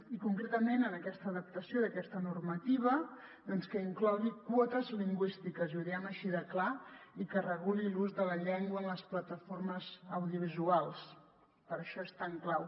i concretament en aquesta adapta·ció d’aquesta normativa que inclogui quotes lingüístiques i ho diem així de clar i que reguli l’ús de la llengua en les plataformes audiovisuals per això és tan clau